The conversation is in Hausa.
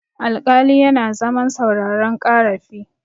alƙali yana zaman sauraron karafi